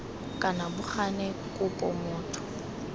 kana bo gane kopo motho